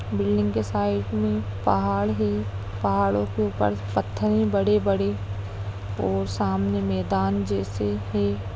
Building के side में पहाड़ है पहाड़ों के ऊपर पत्थर हैं बड़े-बड़े और सामने मैदान जैसे है।